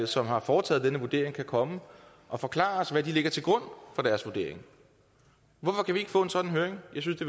som har foretaget denne vurdering kan komme og forklare os hvad de lægger til grund for deres vurdering hvorfor kan vi ikke få en sådan høring jeg synes